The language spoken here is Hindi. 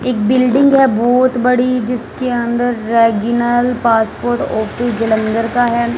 एक बिल्डिंग है बहोत बड़ी जिसके अंदर रेगीनर पासपोर्ट ऑफिस जालंधर का है।